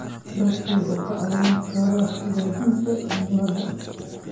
Dalaggu wuxuu kaa caawin karaa hagaajinta cimilada.